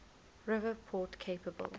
river port capable